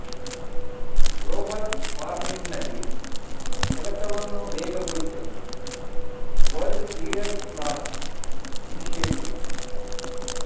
global ವಾರ್ಮಿಂಗ್ನಲ್ಲಿ ಕೆಲಸವನ್ನು ವೇಗಗೊಳಿಸಲು ವರ್ಲ್ಡ್ ಲೀಡರ್ಸ್ ಲಾಂಚ್ ಇನಿಶಿಯೇಟಿವ್